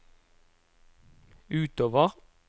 utover